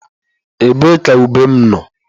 Ebee ka ube m nọ?